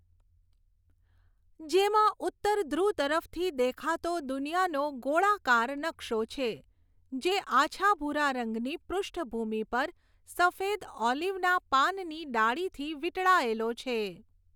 જેમાં ઉત્તર ધ્રુવ તરફથી દેખાતો દુનિયાનો ગોળાકાર નકશો છે, જે આછા ભૂરા રંગની પૃષ્ઠભૂમિ પર સફેદ ઓલીવના પાનની ડાળીથી વીંટળાયેલો છે.